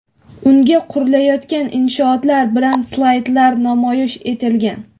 unga qurilayotgan inshootlar bilan slaydlar namoyish etilgan.